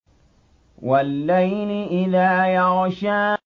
وَاللَّيْلِ إِذَا يَغْشَىٰ